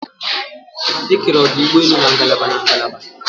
Ekere ọdụ ụgbọelu na ngalaba na ngalaba